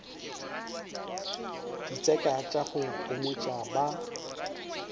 ditseka tša go homotša ba